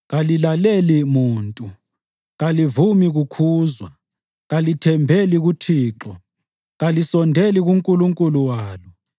Kalilaleli muntu, kalivumi kukhuzwa. Kalithembeli kuThixo, kalisondeli kuNkulunkulu walo.